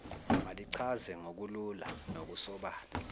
malichaze ngokulula nokusobala